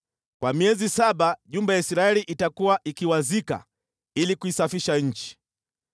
“ ‘Kwa miezi saba nyumba ya Israeli itakuwa ikiwazika ili kuisafisha nchi.